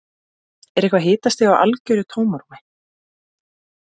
Er eitthvað hitastig í algjöru tómarúmi?